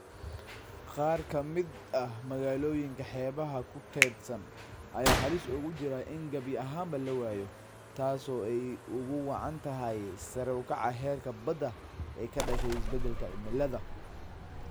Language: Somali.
Qaar ka mid ah magaalooyinka xeebaha ku teedsan ayaa halis ugu jira in gabi ahaanba la waayo, taas oo ay ugu wacan tahay sare u kaca heerka badda ee ka dhashay isbeddelka cimilada.